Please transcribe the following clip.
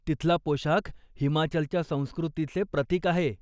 तिथला पोशाख हिमाचलच्या संस्कृतीचे प्रतिक आहे.